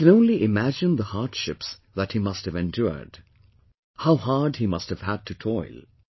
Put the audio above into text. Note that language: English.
We can only imagine the hardships that he must have endured, how hard he must have had to toil